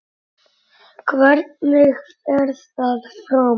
Hvernig fer það fram?